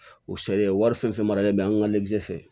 O sariya wari fɛn fɛn maralen bɛ an ka le fɛ